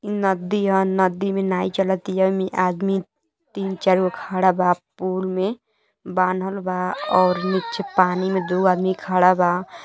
ई नदी ह। नदी मे नाय चलतिया। आदमी तीन-चार गो खड़ा बा पूल मे। बांधल बा और नीचे पानी मे दु आदमी खड़ा बा।